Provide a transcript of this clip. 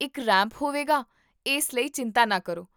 ਇੱਕ ਰੈਂਪ ਹੋਵੇਗਾ, ਇਸ ਲਈ ਚਿੰਤਾ ਨਾ ਕਰੋ